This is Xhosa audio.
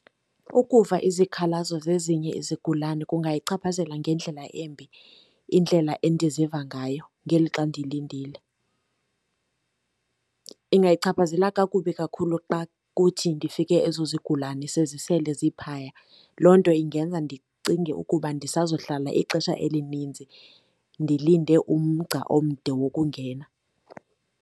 Ukuva izikhalazo zezinye izigulane kungayichaphazela ngendlela embi indlela endizivayo ngayo ngelixa ndilindile. Ingayichaphazela kakubi kakhulu xa kuthi ndifike ezo zigulane sezisele ziphaya, loo nto indenza ndicinge ukuba ndisazohlala ixesha elininzi ndilinde umgca omde wokungena.